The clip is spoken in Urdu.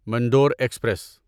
منڈور ایکسپریس